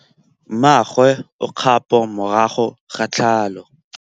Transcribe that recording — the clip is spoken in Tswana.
Mmagwe o kgapô morago ga tlhalô.